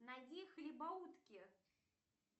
найди хлебоутки